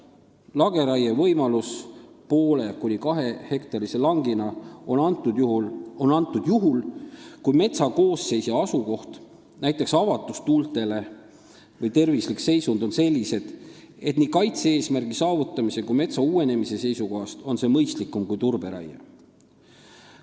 Lageraie võimalus 0,5–2-hektarilisel langil on antud juhul, kui metsa koosseis ja asukoht, näiteks avatus tuultele, või tervislik seisund on sellised, et nii kaitse-eesmärgi saavutamise kui ka metsa uuenemise seisukohast on see mõistlikum kui turberaie.